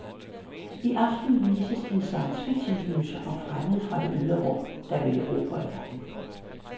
I aften vises en science fiction gyser om fremmede fra det ydre rum, der vil erobre verden.